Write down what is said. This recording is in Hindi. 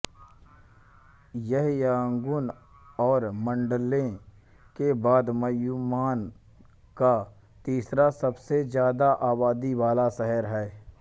यह यांगून और माण्डले के बाद म्यान्मार का तीसरा सबसे ज्यादा आबादी वाला शहर है